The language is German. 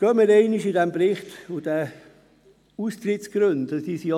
Befassen wir uns einmal mit den Austrittsgründen in diesem Bericht.